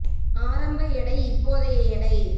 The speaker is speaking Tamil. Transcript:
ஆரம்ப எடை இப்போதைய எடை